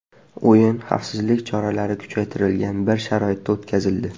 O‘yin xavfsizlik choralari kuchaytirilgan bir sharoitda o‘tkazildi.